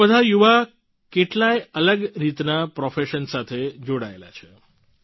આ બધા યુવા કેટલાય અલગ રીતના પ્રોફેશન સાથે જોડાયેલા છે